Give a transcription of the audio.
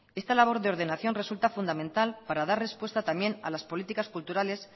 esta labor de ordenación resulta fundamental para dar respuesta también a las políticas culturales